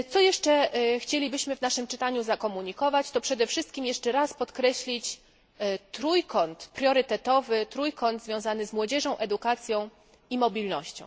Co jeszcze chcielibyśmy w naszym czytaniu zakomunikować, to przede wszystkim jeszcze raz podkreślić trójkąt priorytetowy, trójkąt związany z młodzieżą, edukacją i mobilnością.